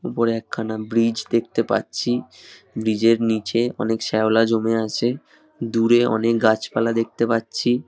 উপরে একখানা ব্রিজ দেখতে পারছি। ব্রিজ এর নিচে অনেক শ্যাওলা জমে আছে দূরে অনেক গাছপালা দেখতে পারছি।